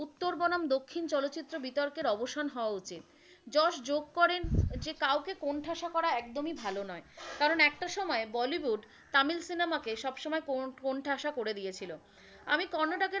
উত্তর বনাম দক্ষিণ চলচ্চিত্র বিতর্কের অবসান হওয়া উচিত। যশ যোগ করেন যে কাউকে কোন ঠাসা করা একদমই ভালো নয়, কারণ একটা সময়েবলিউড তামিল cinema কে সবসময় কোন ঠাসা করে দিয়েছিলো। আমি কর্ণাটকের,